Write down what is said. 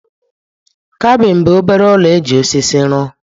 Kabin bụ obere ụlọ e ji osisi rụọ.